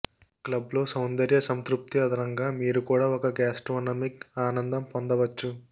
club లో సౌందర్య సంతృప్తి అదనంగా మీరు కూడా ఒక గాస్ట్రోనమిక్ ఆనందం పొందవచ్చు